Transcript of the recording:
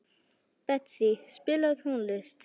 Betsý, spilaðu tónlist.